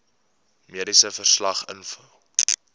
mediese verslag invul